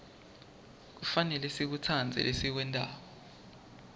kufanele sikutsandze lesikwentako